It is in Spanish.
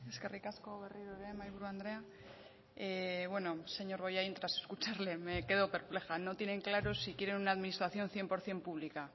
eskerrik asko berriro ere mahaiburu andrea bueno señor bollain tras escucharle me quedo perpleja no tienen claro si quieren una administración cien por ciento pública